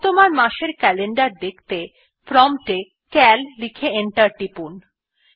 বর্তমান মাস এর ক্যালেন্ডার দেখতে প্রম্পট এ সিএএল লিখে এন্টার টিপুন